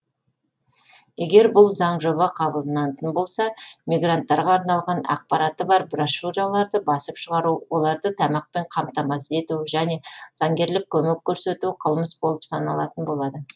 егер бұл заңжоба қабылданатын болса мигранттарға арналған ақпараты бар брошюраларды басып шығару оларды тамақпен қамтамасыз ету және заңгерлік көмек көрсету қылмыс болып саналатын болады